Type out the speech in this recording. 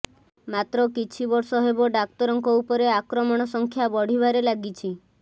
ମାତ୍ର କିଛି ବର୍ଷ ହେବ ଡାକ୍ତରଙ୍କ ଉପରେ ଆକ୍ରମଣ ସଂଖ୍ୟା ବଢ଼ିବାରେ ଲାଗିଛି